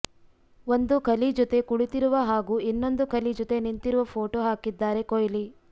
ಒಂದು ಖಲಿ ಜೊತೆ ಕುಳಿತಿರುವ ಹಾಗೂ ಇನ್ನೊಂದು ಖಲಿ ಜೊತೆ ನಿಂತಿರುವ ಫೋಟೋ ಹಾಕಿದ್ದಾರೆ ಕೊಹ್ಲಿ